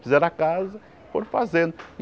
Fizeram a casa, foram fazendo.